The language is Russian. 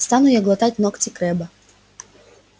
стану я глотать ногти крэбба